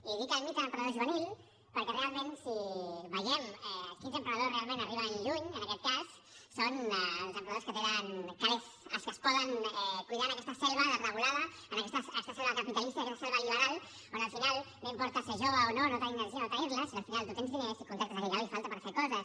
i dic el mite de l’emprenedor juvenil perquè realment si veiem quins emprenedors realment arriben lluny en aquest cas són els emprenedors que tenen calés els que es poden cuidar en aquesta selva desregulada en aquesta selva capitalista i aquesta selva liberal on al final no importa ser jove o no tenir energia o no tenir la sinó que al final tu tens diners i contractes a qui faci falta per fer coses